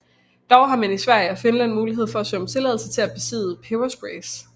Dog har man i Sverige og Finland mulighed for at søge om tilladelse til at besidde pebersprays